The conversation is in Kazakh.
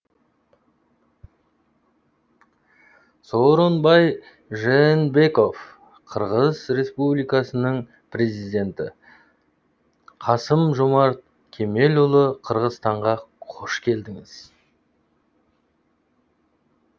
сооронбай жээнбеков қырғыз республикасының президенті қасым жомарт кемелұлы қырғызстанға қош келдіңіз